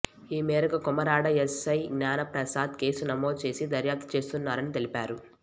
ఈమేరకు Komarada SI Gnana Prasad case నమోదు చేసి దర్యాప్తు చేస్తున్నారని తెలిపారు